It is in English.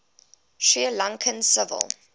sri lankan civil